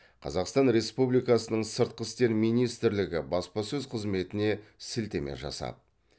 қазақстан республикасының сыртқы істер министрлігі баспасөз қызметіне сілтеме жасап